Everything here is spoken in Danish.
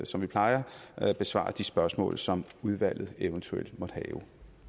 som vi plejer besvare de spørgsmål som udvalget eventuelt måtte have